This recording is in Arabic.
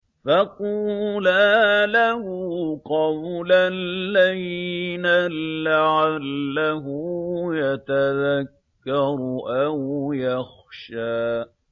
فَقُولَا لَهُ قَوْلًا لَّيِّنًا لَّعَلَّهُ يَتَذَكَّرُ أَوْ يَخْشَىٰ